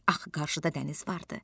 Axı qarşıda dəniz vardı.